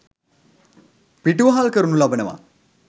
පිටුවහල් කරනු ලබනවා.